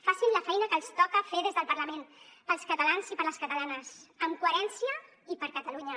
facin la feina que els toca fer des del parlament per als catalans i per les catalanes amb coherència i per catalunya